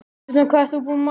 Gambía